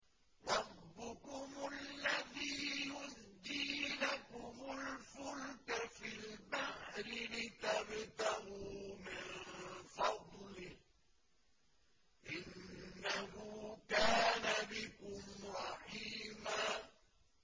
رَّبُّكُمُ الَّذِي يُزْجِي لَكُمُ الْفُلْكَ فِي الْبَحْرِ لِتَبْتَغُوا مِن فَضْلِهِ ۚ إِنَّهُ كَانَ بِكُمْ رَحِيمًا